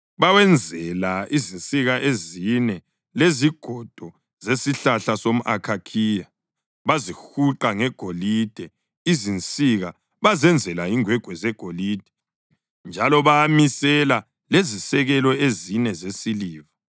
Bawenzela izinsika ezine ngezigodo zesihlahla somʼakhakhiya bazihuqa ngegolide. Izinsika bazenzela ingwegwe zegolide njalo bawamisela lezisekelo ezine zesiliva.